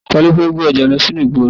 Talọ́ fẹ́ gbé ọjà lọ sí ìgboro nínú yìí?